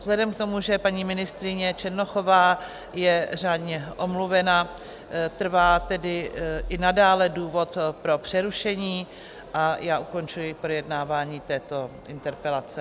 Vzhledem k tomu, že paní ministryně Černochová je řádně omluvena, trvá tedy i nadále důvod pro přerušení a já ukončuji projednávání této interpelace.